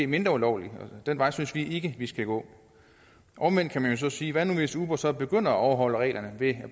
mindre ulovligt den vej synes vi ikke vi skal gå omvendt kan man jo så sige hvad nu hvis uber så begynder at overholde reglerne ved